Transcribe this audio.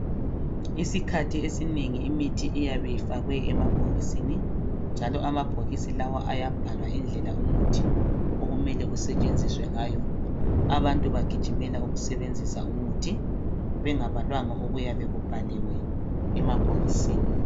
isikhathi esinengi imthi iyabe ifakwe emabhokisini njalo amabhokisi lawa ayabhala indlela umuthi okumele usetshenziswe ngayo abantu bagijimela ukusebenzisa umuthi bengabalanga okuyabe kubhaliwe emabhokisini